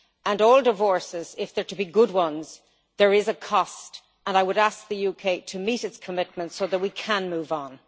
For all divorces, if they are to be good ones, there is a cost, and I would ask the UK to meet its commitments so that we can move on.